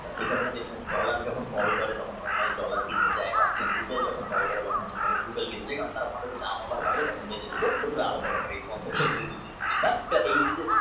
একারণে dollar যখন fall করে তখন dollar কিনতে যায় যখন দাম আবার বারে তখন বেশি করে